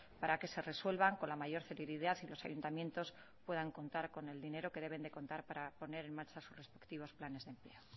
para que se resuelvan con la mayor celeridad y los ayuntamientos puedan contar con el dinero que deben de contar para poner en marcha sus respectivos planes de empleo